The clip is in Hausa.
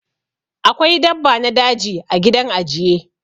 Akwai dabba na daji ã gidan ajiye.